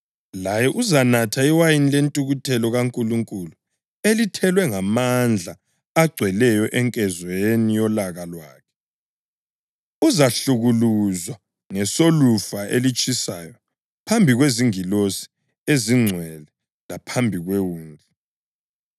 laye uzanatha iwayini lentukuthelo kaNkulunkulu elithelwe ngamandla agcweleyo enkezweni yolaka lwakhe. Uzahlukuluzwa ngesolufa elitshisayo phambi kwezingilosi ezingcwele laphambi kweWundlu.